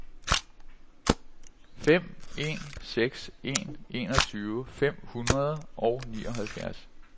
fem en seks en enogtyve fem hundrede og nioghalvfjerds